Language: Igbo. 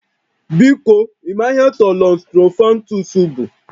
Biko, ị maara ihe Thollon Sttrophanthus bụ?